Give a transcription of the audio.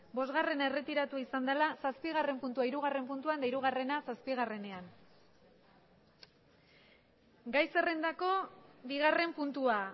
bosgarrena erretiratua izan dala zazpigarren puntua hirugarren puntua eta hirugarrena zazpigarrenean gai zerrendako bigarren puntua